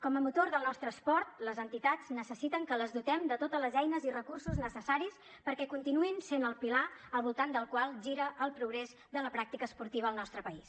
com a motor del nostre esport les entitats necessiten que les dotem de totes les eines i recursos necessaris perquè continuïn essent el pilar al voltant del qual gira el progrés de la pràctica esportiva al nostre país